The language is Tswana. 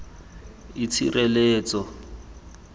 itshireletso